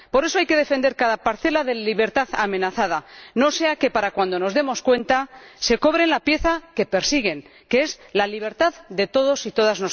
Por eso, hay que defender cada parcela de libertad amenazada, no sea que, para cuando nos demos cuenta, se hayan cobrado la pieza que persiguen, que es la libertad de todas nosotras y todos nosotros.